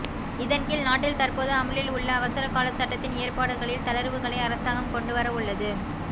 இதன்கீழ் நாட்டில் தற்போது அமுலில் உள்ள அவசரக்கால சட்டத்தின் ஏற்பாடுகளில் தளர்வுகளை அரசாங்கம் கொண்டு வரவுள்ளது